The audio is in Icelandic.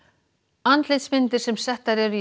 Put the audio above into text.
andlitsmyndir sem settar eru í